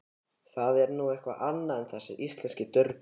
Það er nú eitthvað annað en þessir íslensku durgar.